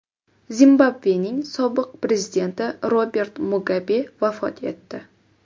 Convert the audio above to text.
Zimbabvening sobiq prezidenti Robert Mugabe vafot etdi.